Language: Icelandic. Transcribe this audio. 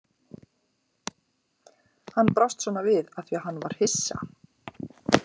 Hann brást svona við af því að hann var hissa.